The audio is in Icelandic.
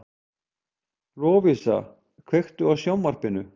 Lovísa, kveiktu á sjónvarpinu.